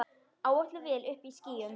Áætluð vél uppí skýjum.